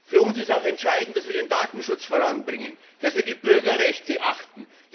Für uns ist auch entscheidend, dass wir den Datenschutz voranbringen, dass wir die Bürgerrechte achten.